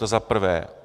To za prvé.